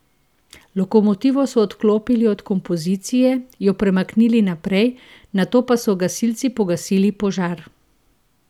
Lokomotivo so odklopili od kompozicije, jo premaknili naprej, nato pa so gasilci pogasili požar.